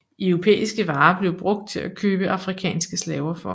Europæiske varer blev brugt til at købe afrikanske slaver for